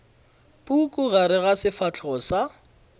puku gare ga sefahlego sa